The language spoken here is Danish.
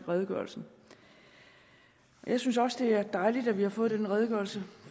redegørelsen jeg synes også det er dejligt at vi har fået den redegørelse